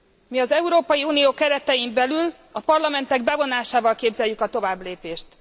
Mi az Európai Unió keretein belül, a parlamentek bevonásával képzeljük a továbblépést.